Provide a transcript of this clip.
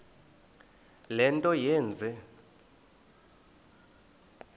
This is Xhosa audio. le nto yenze